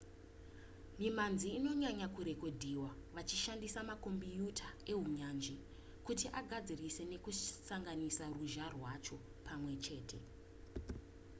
mimhanzi inonyanya kurekodhiwa vachishandisa makombiyuta ehunyanzvi kuti agadzirise nekusanganisa ruzha rwacho pamwe chete